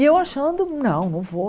E eu achando, não, não vou.